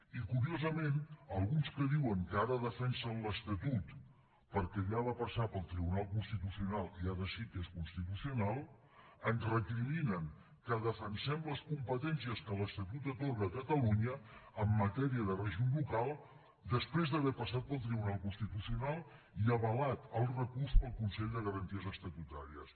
i curiosament alguns que diuen que ara defensen l’estatut perquè ja va passar pel tribunal constitucional i ara sí que és constitucional ens recriminen que defensem les competències que l’estatut atorga a catalunya en matèria de règim local després d’haver passat pel tribunal constitucional i avalat el recurs pel consell de garanties estatutàries